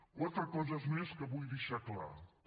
quatre coses més que vull deixar clares